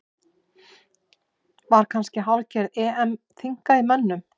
Var kannski hálfgerð EM þynnka í mönnum?